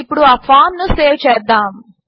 ఇప్పుడు ఆ ఫామ్ ను సేవ్ చేద్దాము